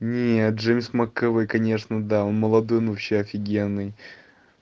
нет джеймс макэвой конечно да он молодой но вообще офигенный